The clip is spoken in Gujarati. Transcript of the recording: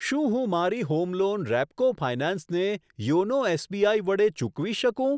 શું હું મારી હોમ લોન રેપકો ફાયનાન્સ ને યોનો એસબીઆઈ વડે ચૂકવી શકું?